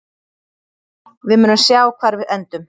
Við munum sjá hvar við endum.